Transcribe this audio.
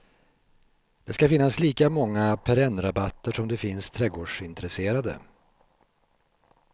Det ska finnas lika många perennrabatter som det finns trädgårdsintresserade.